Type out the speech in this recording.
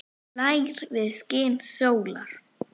hlær við skini sólar